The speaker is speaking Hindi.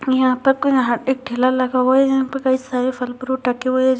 यहां पे एक यहां एक ठेला लगा हुआ है यहां पर कई सारे फल फ्रूट रखे हुए है जो --